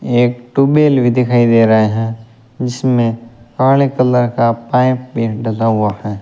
एक ट्यूबवेल भी दिखाई दे रहे हैं जिसमें काले कलर का पाइप भी डला हुआ है।